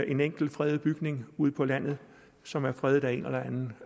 en enkelt fredet bygning ude på landet som er fredet af en eller anden